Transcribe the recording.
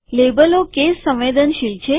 લેબલો કેસ સંવેદનશીલ છે